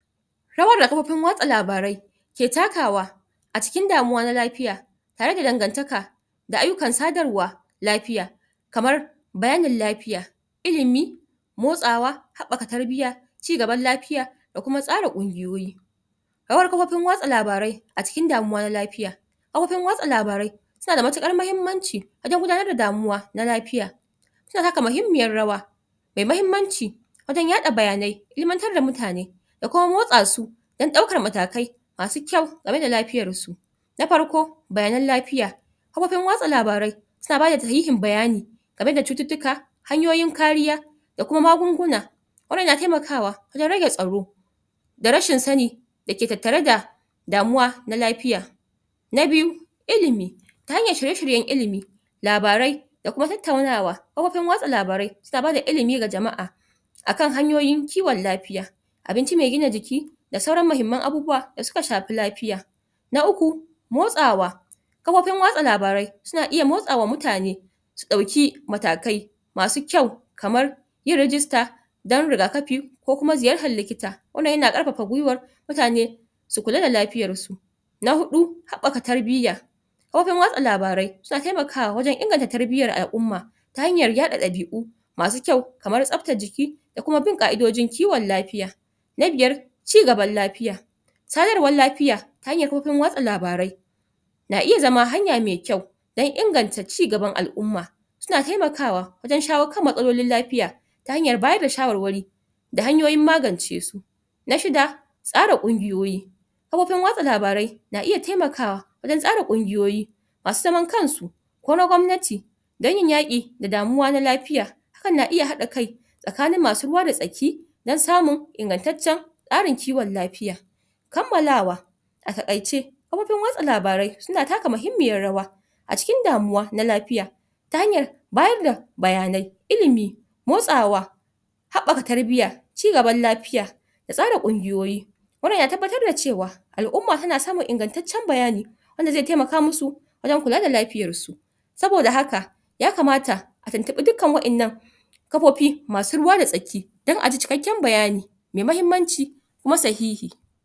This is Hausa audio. rawa da kafofin watsa labarai ke takawa a cikin damuwa na lafiya tare da dangantaka da ayyukan sadarwa lafiya kamar bayanin lafiya ilimi motsawa haɓɓaka tarbiya cigaban lafiya da kuma tsara ƙungiyoyi rawar kafofin watsa labarai a cikin damuwa na lafiya kafofin watsa labarai suna da matuƙar mahimmanci wajen gudanar da damuwa na lafiya suna taka muhimmiyar rawa me mahimmanci wajen yaɗa bayanai ilimantar da mutane da kuma motsa su dan ɗaukar matakai masu kyau da rage lafiyar su na farko bayanan lafiya kafofin watsa labarai suna bada sahihin bayani da rage cututtuka hanyoyin kariya da kuma magunguna wannan na temakawa wajen rage tsaro da rashin sani da ke tattare da damuwa na lafiya na biyu ilimi ta hanyar shirye-shiryen ilimi labarai da kuma tattaunawa kafofin watsa labarai suna bada ilimi ga jama'a akan hanyoyin kiwon lafiya abinci me gina jiki da sauran mahimman abubuwa da suka shafi lafiya na uku motsawa kafofin watsa labarai suna iya motsawa mutane su ɗauki matakai masu kyau kamar yin rijista dan rigakafi ko kuma ziyartar likita wannan yana ƙarfaf gwiwar mutane su kula da lafiyar su na huɗu haɓɓaka tarbiya kafofin watsa labarai suna temakawa wajen inganta tarbiyar al'umma ta hanyar yaɗa ɗabi'u masu kyau kamar tsabtar jiki da kum bin ƙa'idojin kiwon lafiya na biyar ci gaban lafiya sadarwar lafiya ta hanyar kafofin watsa labarai na iya zama hanya me kyau dan inganta ci gaban al'umma suna temakawa wajen shawo kan matsalolin lafiya ta hanyar bayar da shawarwari da hanyoyin magance su na shida tsara ƙungiyoyi kafofin watsa labarai na iya temakawa wajen tsara ƙungiyoyi masu zaman kansu ko na gwamnati dan yin yaƙi da damuwa na lafiya na iya haɗa kai tsakanin masu ruwa da tsaki dan samun ingantaccen ƙarin kiwon lafiya kammalawa a taƙaice kafofin watsa labarai suna taka muhimmiyar rawa a cikin damuwa na lafiya ta hanyar bayar da bayanai ilimi motsawa haɓɓaka tarbiya cigaban lafiya da tsara ƙungiyoyi wannan yana tabbatar da cewa al'umma tana samun ingantaccen bayani wanda ze temaka mu su wajen kula da lafiyar su saboda haka ya kamata a tuntuɓi dukkan wa'ennan kafofi masu ruwa da tsaki dan aji cikakken bayani me mahimmanci kuma sahihi